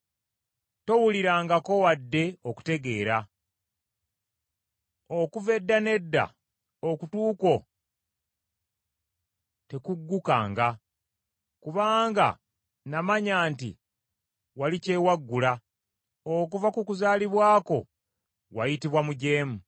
Towulirangako wadde okutegeera. Okuva edda n’edda okutu kwo tekuggukanga. Kubanga namanya nti wali kyewaggula, okuva ku kuzaalibwa kwo wayitibwa mujeemu.